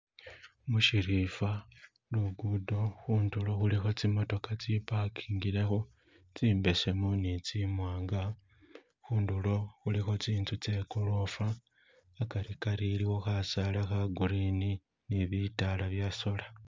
Mushirimba lugudo khundulo khuliko zimootoka zi parkingilekho tsimbesemu ni tsimwanga khundulo khuliko tsinzu ze golofa hagarigari iliwo kasaala ka green ni bitala bya soola.